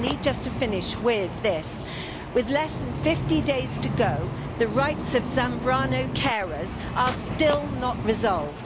I need just to finish with this with less than 50 days to go, the rights of Zambrano carers are still not resolved.